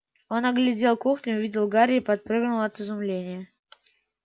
он оглядел кухню увидел гарри и подпрыгнул от изумления